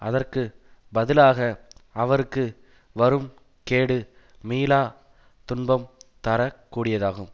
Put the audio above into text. அதற்கு பதிலாக அவர்க்கு வரும் கேடு மீளாத் துன்பம் தர கூடியதாகும்